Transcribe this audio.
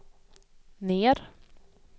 ner